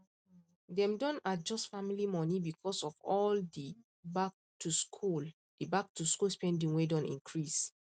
dem don adjust family money because of all the backtoschool the backtoschool spending wey don increase